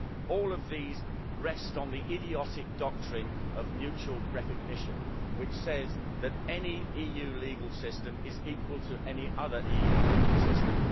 All of these rest on the idiotic doctrine of mutual recognition, which says that any EU legal system is equal to any other EU legal system.